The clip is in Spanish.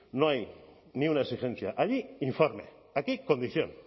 no hay ni una exigencia allí informe aquí condición